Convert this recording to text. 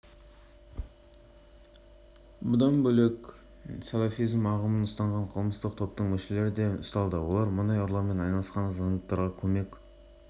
ақтөбе облысы мен еліміздің өзге де өңірлерінде мұнай және мұнай өнімдерін ұрлаумен айналысатын ұйымдасқан қылмыстық